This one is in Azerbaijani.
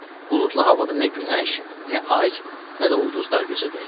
Buludlu havada nə günəş, nə ay, nə də ulduzlar gözə dəyirdi.